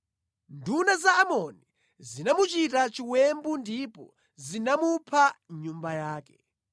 Nduna za Amoni zinamuchita chiwembu ndipo zinamupha mʼnyumba yake.